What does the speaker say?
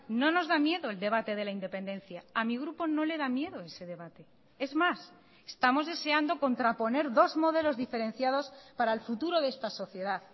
no nos da miedo el debate de la independencia a mi grupo no le da miedo ese debate es más estamos deseando contraponer dos modelos diferenciados para el futuro de esta sociedad